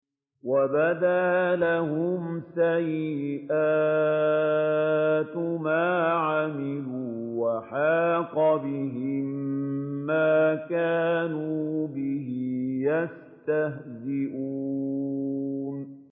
وَبَدَا لَهُمْ سَيِّئَاتُ مَا عَمِلُوا وَحَاقَ بِهِم مَّا كَانُوا بِهِ يَسْتَهْزِئُونَ